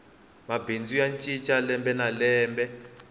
mabindzu ya cinca lembe na lembe